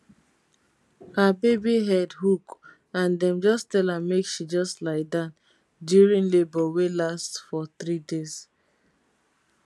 her baby head hook and dem just tell am make she just lie down during labour wey last for three days